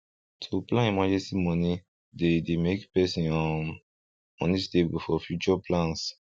to plan emergency money dey dey make person um money stable for future plans